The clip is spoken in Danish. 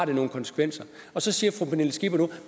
det nogle konsekvenser så siger fru pernille skipper nu